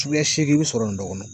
Suguya seegin bɛ sɔrɔ nin bɛɛ kɔnɔn.